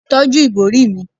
tọju ibori mi